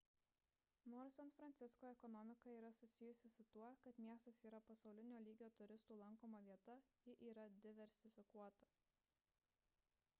nors san francisko ekonomika yra susijusi su tuo kad miestas yra pasaulinio lygio turistų lankoma vieta ji yra diversifikuota